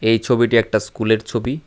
এই ছবিটি একটা স্কুলের ছবি।